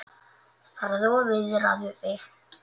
Farðu og viðraðu þig,